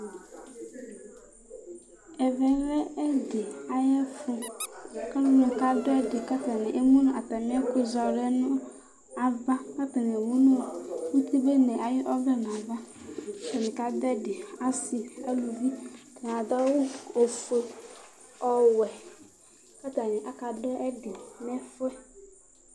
Ɛvɛ lɛ ɛdɩ ayɛfʊ kalʊ kadʊvɛdɩ katanɩ emʊ natamɩ ɛkʊzɔ alʊ yɛ nava Atanɩ emʊ nʊtɩbene ayɔvlɛ nava katanɩ kadʊbɛdɩ Asɩ nalʊvɩ adʊ ɛkʊ ofʊe, ɔwɛ katanɩ akavdʊvɛdɩ nɛfʊɛ